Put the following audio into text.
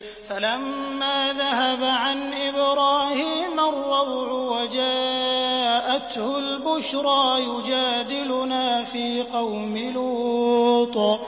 فَلَمَّا ذَهَبَ عَنْ إِبْرَاهِيمَ الرَّوْعُ وَجَاءَتْهُ الْبُشْرَىٰ يُجَادِلُنَا فِي قَوْمِ لُوطٍ